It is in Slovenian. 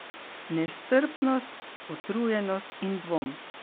Nestrpnost, utrujenost in dvom.